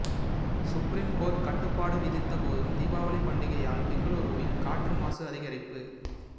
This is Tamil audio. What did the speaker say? சுப்ரீம் கோர்ட்டு கட்டுப்பாடு விதித்தபோதும் தீபாவளி பண்டிகையால் பெங்களூருவில் காற்று மாசு அதிகரிப்பு